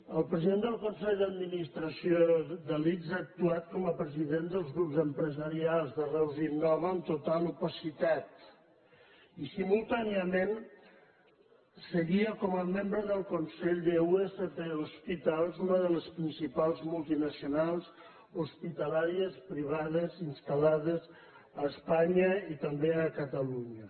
el president del consell d’administració de l’ics ha actuat com a president dels grups empresarials de reus innova amb total opacitat i simultàniament seguia com a membre del consell d’usp hospitals una de les principals multinacionals hospitalàries privades installades a espanya i també a catalunya